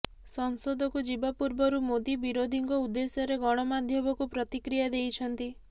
ସଂସଦକୁ ଯିବା ପୂର୍ବରୁ ମୋଦି ବିରୋଧୀଙ୍କ ଉଦ୍ଦେଶ୍ୟରେ ଗଣମାଧ୍ୟମକୁ ପ୍ରତିକ୍ରିୟା ଦେଇଛନ୍ତି